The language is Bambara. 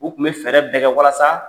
U tun bɛ fɛɛrɛ bɛ kɛ walasa